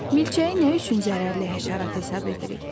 Milçəyi nə üçün zərərli həşərat hesab edirik?